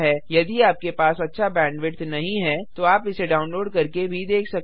यदि आपके पास अच्छा बैंडविड्थ नहीं है तो आप इसे डाउनलोड करके भी देख सकते हैं